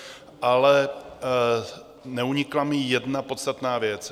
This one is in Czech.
Ale neunikla mi jedna podstatná věc.